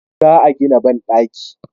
Za a gina banɗaki